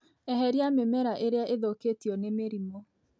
Eheria mĩmera ĩrĩa ithũkĩtio nĩ mĩrimũ.